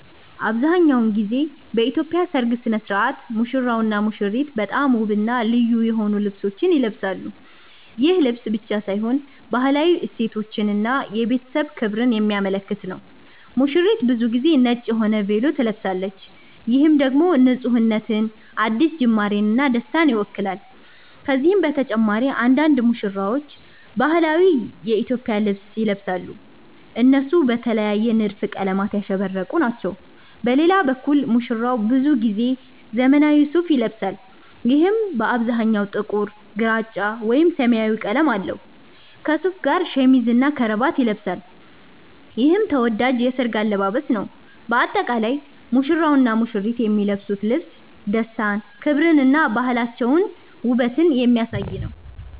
አብዛሀኛውን ጊዜ በኢትዮጵያ ሠርግ ሥነ ሥርዓት ሙሽራውና ሙሽሪት በጣም ውብና ልዩ የሆኑ ልብሶችን ይለብሳሉ። ይህ ልብስ ብቻ ሳይሆን ባህላዊ እሴቶችን እና የቤተሰብ ክብርን የሚያመለክት ነው። ሙሽሪት ብዙ ጊዜ ነጭ የሆነ ቬሎ ትለብሳለች፣ ይህም ደግሞ ንፁህነትን፣ አዲስ ጅማርን እና ደስታን ይወክላል። ከነዚህ በተጨማሪ አንዳንድ ሙሽራዎች ባህላዊ የኢትዮጵያ ልብስ ይለብሳሉ፣ እነሱም በተለየ ንድፍና ቀለማት ያሸበረቁ ናቸው። በሌላ በኩል ሙሽራው ብዙ ጊዜ ዘመናዊ ሱፋ ይለብሳል፣ ይህም በአብዛኛው ጥቁር፣ ግራጫ ወይም ሰማያዊ ቀለም አለው። ከሱፉ ጋር ሸሚዝና ከረባት ይለብሳል፣ ይህም ተወዳጅ የሠርግ አለባበስ ነው። በአጠቃላይ ሙሽራውና ሙሽሪት የሚለብሱት ልብስ ደስታን፣ ክብርን እና ባህላቸውንና ውበትን የሚያሳይ ነው።